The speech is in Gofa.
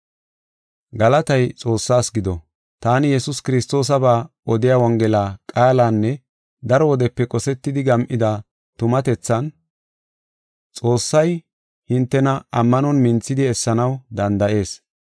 Galatay Xoossaas gido. Taani, Yesuus Kiristoosaba odiya Wongela qaalanne daro wodepe qosetidi gam7ida tumatethan, Xoossay hintena ammanon minthidi essanaw danda7ees.